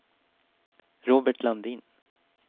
Robert Landin